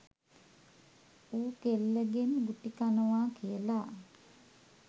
ඌ කෙල්ලගෙන් ගුටිකනවා කියලා